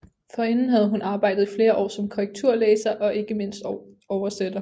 Forinden havde hun arbejdet i flere år som korrekturlæser og ikke mindst oversætter